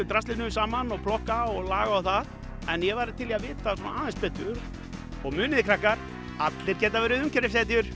draslinu saman og plokka og laga en ég væri til í að vita aðeins betur og muniði krakkar allir geta verið